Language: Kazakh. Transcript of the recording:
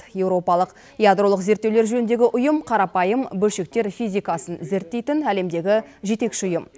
еуропалық ядролық зерттеулер жөніндегі ұйым қарапайым бөлшектер физикасын зерттейтін әлемдегі жетекші ұйым